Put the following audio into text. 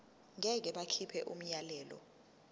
ngeke bakhipha umyalelo